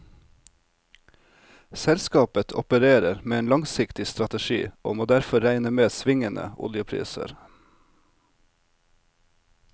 Selskapet opererer med en langsiktig strategi og må derfor regne med svingende oljepriser.